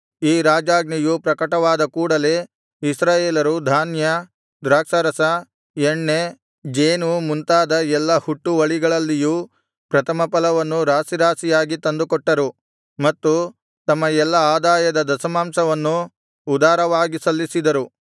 ಈ ರಾಜಾಜ್ಞೆಯು ಪ್ರಕಟವಾದ ಕೂಡಲೆ ಇಸ್ರಾಯೇಲರು ಧಾನ್ಯ ದ್ರಾಕ್ಷಾರಸ ಎಣ್ಣೆ ಜೇನು ಮುಂತಾದ ಎಲ್ಲಾ ಹುಟ್ಟುವಳಿಗಳಲ್ಲಿಯೂ ಪ್ರಥಮಫಲವನ್ನು ರಾಶಿರಾಶಿಯಾಗಿ ತಂದುಕೊಟ್ಟರು ಮತ್ತು ತಮ್ಮ ಎಲ್ಲಾ ಆದಾಯದ ದಶಮಾಂಶವನ್ನೂ ಉದಾರವಾಗಿ ಸಲ್ಲಿಸಿದರು